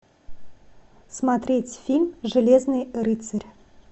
смотреть фильм железный рыцарь